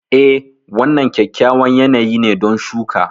Eh, wannan kyakkyawan yanayi ne don shuka.